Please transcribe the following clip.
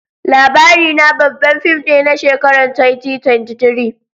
LABARINA babban fim ne na shekarar 2023